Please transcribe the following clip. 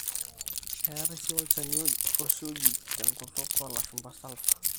eetai sii olchani ooshi oji tenkutuk oolashumba sulphur